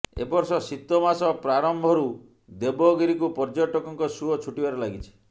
ଏବର୍ଷ ଶିତମାଷ ପ୍ରାରମ୍ଭରୁ ଦେବଗିରିକୁ ପର୍ଯ୍ୟଟକଙ୍କ ଶୁଅ ଛୁଟିବାରେ ଲାଗିଛି